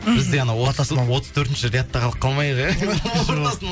мхм біз де анау ортасына отыз төртінші рядта қалып қалмайық иә ортасына